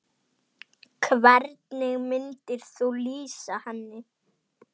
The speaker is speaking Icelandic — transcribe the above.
Hvernig myndir þú lýsa henni?